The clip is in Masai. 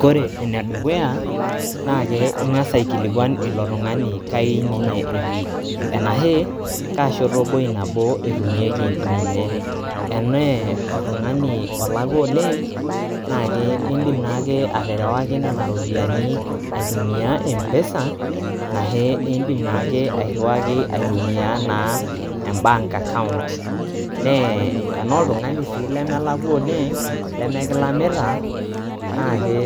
Kore enedukuyaa naa pee ing'as aikiluan ilo tungani kaininye etii ,enaake kaa ishoto nabo etumieki ninye, enee oltungani olaukwa oleng naa keeindim naake atarawa nena iripiyiani aitumiyaaa Mpesa nashee iindim naake airuaki aitumiyaa naa embaank account, nee enaa oltungani sii lemelakwa oleeng lemekilamita naake